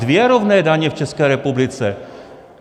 Dvě rovné daně v České republice.